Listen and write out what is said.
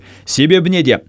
себебі неде